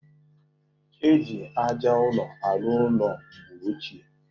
E ji aja ụrọ arụ ụlọ mgbe ochie